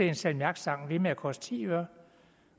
en salmiakstang ved med at koste ti øre